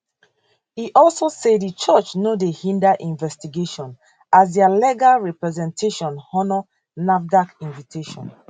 e also say di church no dey hinder investigation as dia legal representation honour nafdac invitation